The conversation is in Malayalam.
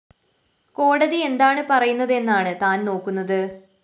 കോടതി എന്താണ് പറയുന്നതെന്നാണ് താന്‍ നോക്കുന്നത്